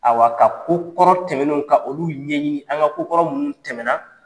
Awa ka ko kɔrɔ tɛmɛnen ka olu ɲɛɲini an ka ko kɔrɔ minnu tɛmɛna